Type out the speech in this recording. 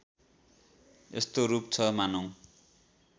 यस्तो रूप छ मानौँ